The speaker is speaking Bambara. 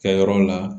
Kɛyɔrɔ la